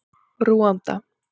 Rúanda